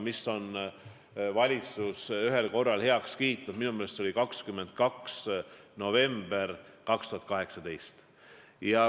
Ma võin kuupäevaga eksida, vabandust, aga minu meelest oli see 22. november 2018.